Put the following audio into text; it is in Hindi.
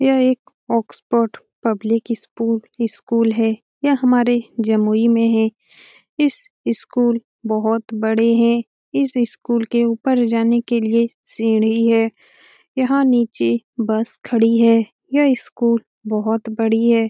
यह एक ऑक्सफोर्ड पब्लिक इस स्कूल है। यह हमारे जमुई में है। इस स्कूल बहुत बड़ी है। इस स्कूल के ऊपर जाने के लिए सीढ़ी है। यहाँ नीचे बस खड़ी है। यह स्कूल बोहोत बड़ी है।